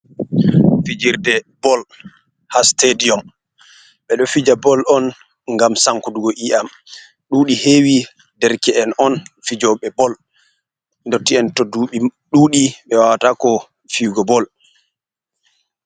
Fijirde bol haa sitadiyom, ɓe ɗo fija bol on, ngam sankutugo ƴii'am, ɗuuɗi heewi dereke'en on, fijoɓe bol, ndotti'en to duuɓi ɗuuɗi, ɓe wawataako fiyugo bol.